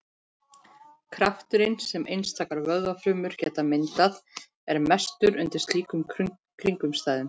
Krafturinn sem einstakar vöðvafrumur geta myndað er mestur undir slíkum kringumstæðum.